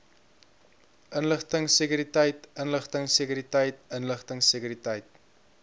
inligtingsekuriteit inligtingsekuriteit inligtingsekuriteit